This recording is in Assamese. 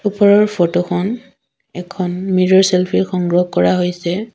ওপৰৰ ফটো খন এখন মিৰৰ চেল্ফি সংগ্ৰহ কৰা হৈছে।